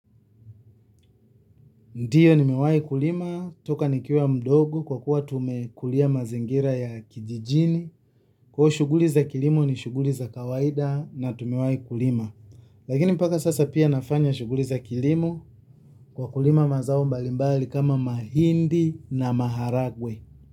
Ndiyo nimewai kulima, kutoka nikiwa mdogo kwa kuwa tumekulia mazingira ya kijijini. Kuwa shughuli za kilimo ni shughuli za kawaida na tumewai kulima. Lakini mpaka sasa pia nafanya shughuli za kilimo kwa kulima mazao mbalimbali kama mahindi na maharagwe.